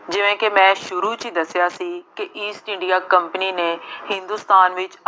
ਜਿਵੇਂ ਕਿ ਮੈਂ ਸ਼ੁਰੂ ਚ ਹੀ ਦੱਸਿਆ ਸੀ ਕਿ ਈਸਟ ਇੰਡੀਆਂ ਕੰਪਨੀ ਨੇ ਹਿੰਦੁਸਤਾਨ ਵਿੱਚ